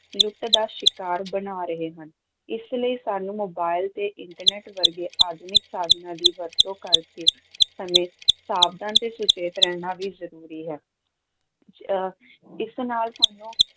ਲੁੱਟ ਦਾ ਸ਼ਿਕਾਰ ਬਣਾ ਰਹੇ ਹਨ, ਇਸ ਲਈ ਸਾਨੂੰ ਮੋਬਾਈਲ ਤੇ internet ਵਰਗੇ ਆਧੁਨਿਕ ਸਾਧਨਾਂ ਦੀ ਵਰਤੋਂ ਕਰਦੇ ਸਮੇਂ ਸਾਵਧਾਨ ਤੇ ਸੁਚੇਤ ਰਹਿਣਾ ਵੀ ਜ਼ਰੂਰੀ ਹੈ ਅਹ ਇਸ ਨਾਲ ਸਾਨੂੰ